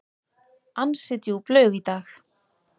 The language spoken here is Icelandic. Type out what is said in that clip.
Ansi djúp laug í dag.